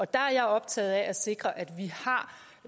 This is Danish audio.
der er jeg optaget af at sikre at vi